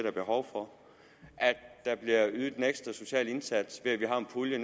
er behov for at der bliver ydet en ekstra social indsats ved at vi har en pulje